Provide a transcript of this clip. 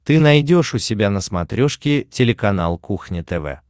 ты найдешь у себя на смотрешке телеканал кухня тв